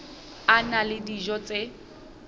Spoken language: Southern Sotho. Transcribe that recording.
a na le dijo tse